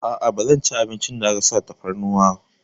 A'a, ba zan ci abincin da aka sa tafarnuwa.